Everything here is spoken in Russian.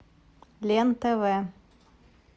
лен тв